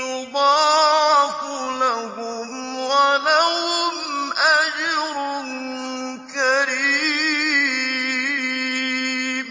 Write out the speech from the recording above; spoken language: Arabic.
يُضَاعَفُ لَهُمْ وَلَهُمْ أَجْرٌ كَرِيمٌ